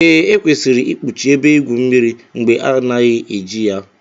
Ee, Ekwesịrị ikpuchi ebe igwu mmiri mgbe ha anaghị eji ya